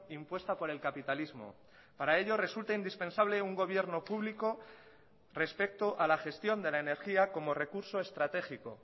impuesta por el capitalismo para ello resulta indispensable un gobierno público respecto a la gestión de la energía como recurso estratégico